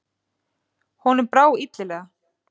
Honum brá illilega.